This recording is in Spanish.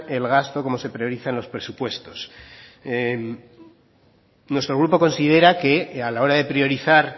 el gasto cómo se priorizan los presupuestos nuestro grupo considera que a la hora de priorizar